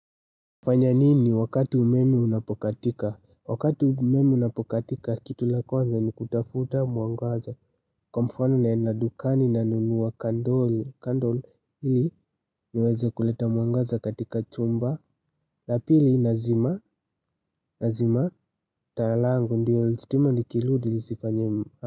Hufanya nini wakati umeme unapokatika? Wakati umeme unapokatika, kitu la kwanza ni kutafuta mwangaza. Kwa mfano naenda dukani nanunua kandol, kandol ili niweze kuleta mwangaza katika chumba. La pili nazima, nazima, taa langu, ndiyo, stima likirudi, lisifanye.